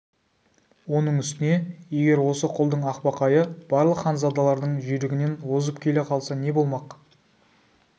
оның үстіне егер осы құлдың ақбақайы барлық ханзадалардың жүйрігінен озып келе қалса не болмақ